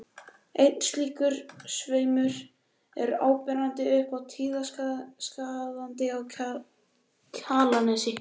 Einn slíkur sveimur er áberandi upp af Tíðaskarði á Kjalarnesi.